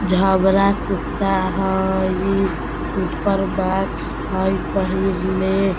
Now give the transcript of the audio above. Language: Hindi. झबरा कुत्ता हई ऊपर मास्क हई पहिनले।